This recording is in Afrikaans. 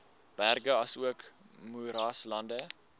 berge asook moeraslande